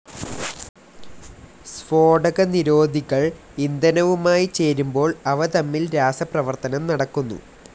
സ്ഫോടകനിരോധികൾ ഇന്ധനവുമായി ചേരുമ്പോൾ അവ തമ്മിൽ രാസപ്രവർത്തനം നടക്കുന്നു.